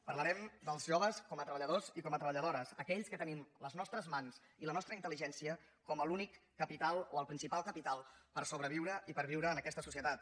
parlarem dels joves com a treballadors i com a treballadores aquells que tenim les nostres mans i la nostra intel·ligència com l’únic capital o el principal capital per sobreviure i per viure en aquesta societat